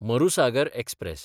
Marusagar express